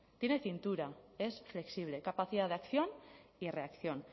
tiene cintura es flexible capacidad de acción y reacción